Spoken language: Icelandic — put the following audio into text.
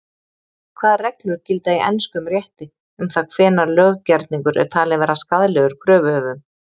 Hvaða reglur gilda í enskum rétti um það hvenær löggerningur er talinn vera skaðlegur kröfuhöfum?